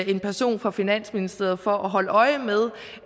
en person fra finansministeriet for at holde øje med